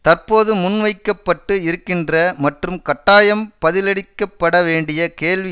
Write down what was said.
தற்போது முன்வைக்க பட்டு இருக்கின்ற மற்றும் கட்டாயம் பதிலளிக்கப்பட வேண்டிய கேள்வி